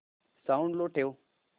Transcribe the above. sound low ठेव